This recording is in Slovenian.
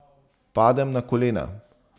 Padem na kolena.